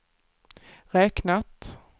räknat